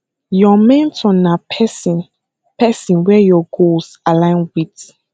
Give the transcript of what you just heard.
your mentor na person person wey your goals align with